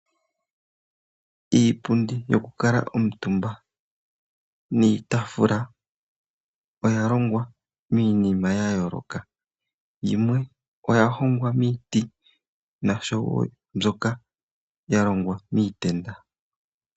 Iipundi yoku kala omutumba niitaafula oya longwa miinima ya yooloka, yimwe oya hongwa miiti noshowo mbyoka ya longwa miitenda.